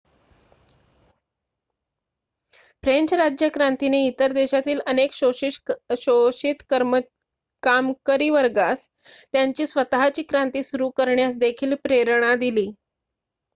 French राज्यक्रांतीने इतर देशातील अनेक शोषित कामकरी वर्गास त्यांची स्वत:ची क्रांती सुरु करण्यास देखील प्रेरणा दिली